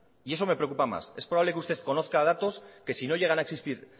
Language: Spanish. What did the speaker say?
y eso me preocupa más es probable que usted conozca datos que si no llegan a existir